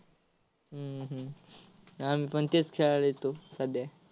हम्म हम्म आम्हीपण तेच खेळायला येतो सध्या.